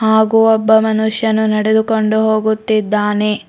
ಹಾಗೂ ಒಬ್ಬ ಮನುಷ್ಯನ ನಡೆದುಕೊಂಡು ಹೋಗುತ್ತಿದ್ದಾನೆ.